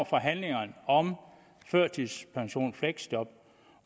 forhandlingerne om førtidspension og fleksjob